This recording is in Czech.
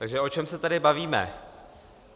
Takže o čem se tady bavíme?